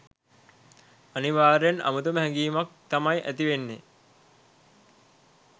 අනිවාර්යයෙන් අමුතුම හැගීමක් තමයි ඇතිවෙන්නේ.